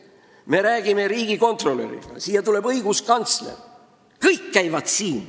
Me räägime riigikontrolöri ja õiguskantsleriga – kõik käivad siin.